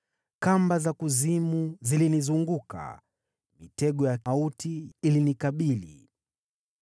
Kamba za kuzimu zilinizunguka, mitego ya mauti ilinikabili.